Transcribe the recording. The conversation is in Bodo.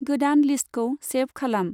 गोदान लिस्तखौ सेभ खालाम।